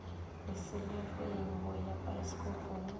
leselageng go ya paesekopong a